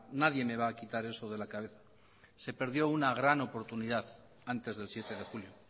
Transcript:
nadie me va a quitar eso de la cabeza se perdió una gran oportunidad antes del siete de julio